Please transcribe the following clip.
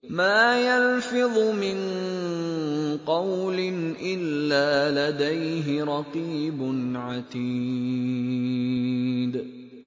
مَّا يَلْفِظُ مِن قَوْلٍ إِلَّا لَدَيْهِ رَقِيبٌ عَتِيدٌ